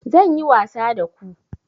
Zan yi wasa da ku